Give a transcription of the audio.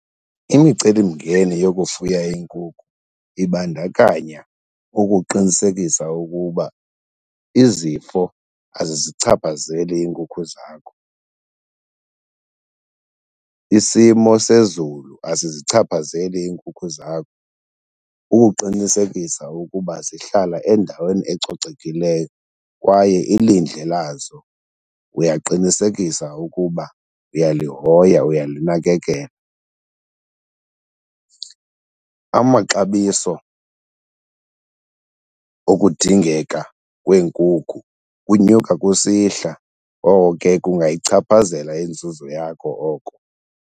Imicelimngeni yokufuya iinkukhu ibandakanya ukuqinisekisa ukuba izifo azizichaphazeli iinkukhu zakho, isimo sezulu asizichaphazeli iinkukhu zakho. Ukuqinisekisa ukuba zihlala endaweni ecocekileyo kwaye ilindle lazo uyaqinisekisa ukuba uyalihoya, uyalinakekela. Amaxabiso okudingeka kweenkukhu kunyuka kusihla, oko ke kungayichaphazela inzuzo yakho oko.